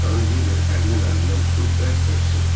Xanım Hinçer ərinin əlindən tutub bərk-bərk sıxdı.